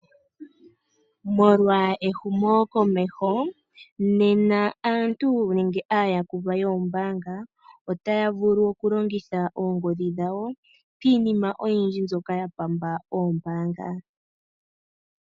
Molwa ehumo komeho, nena aantu nenge aayakulwa yoombaanga, otaya vulu okungitha oongodhi hdhawo piinima oyindji mbyoka yapamba oombaanga.